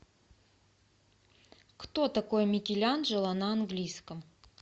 кто такой микеланджело на английском